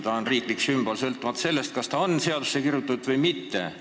Ta on riiklik sümbol sõltumata sellest, kas ta on seadusesse sisse kirjutatud või mitte.